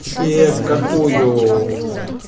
тебе какую